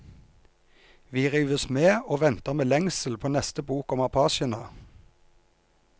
Vi rives med og venter med lengsel på neste bok om apachene.